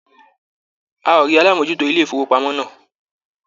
A ò rí alámòójútó ilé-ìfowópamọ́ náà.